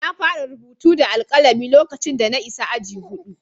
Na fara rubutu da alkalami lokacin da na isa aji huɗu.